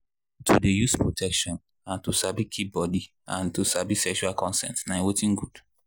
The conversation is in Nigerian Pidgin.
to dey use protection and to dey keep our body and to sabi sexual consent na watin good